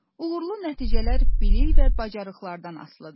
Uğurlu nəticələr bilik və bacarıqlardan asılıdır.